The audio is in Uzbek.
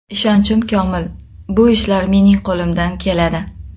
Ishonchim komil, bu ishlar mening qo‘limdan keladi.